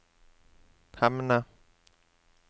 Hemne